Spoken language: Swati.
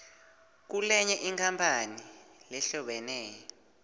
kulenye inkampani lehlobene